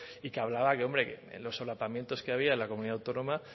y que hablaba hombre de los solapamientos que había en la comunidad autónoma